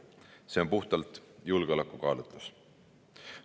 See on puhtalt julgeolekukaalutlus.